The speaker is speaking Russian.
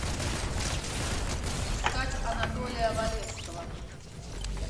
искать анатолия валевского